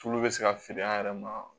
Tulu bɛ se ka feere an yɛrɛ ma